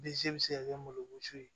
Denz bɛ se ka kɛ malosi ye